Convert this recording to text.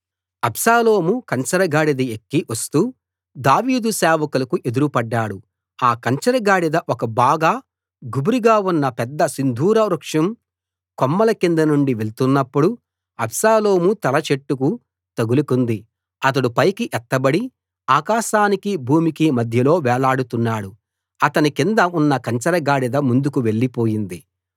అబ్షాలోము కంచరగాడిద ఎక్కి వస్తూ దావీదు సేవకులకు ఎదురు పడ్డాడు ఆ కంచరగాడిద ఒక బాగా గుబురుగా ఉన్న పెద్ద సింధూర వృక్షం కొమ్మల కిందనుండి వెళ్తున్నప్పుడు అబ్షాలోము తల చెట్టుకు తగులుకుంది అతడు పైకి ఎత్తబడి ఆకాశానికి భూమికి మధ్యలో వేలాడుతున్నాడు అతని కింద ఉన్న కంచర గాడిద ముందుకు వెళ్ళిపోయింది